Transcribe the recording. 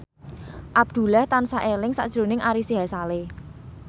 Abdullah tansah eling sakjroning Ari Sihasale